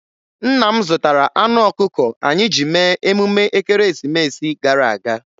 Nna m zụtara anụ ọkụkọ anyị ji mee emume ekeresimesi gara aga.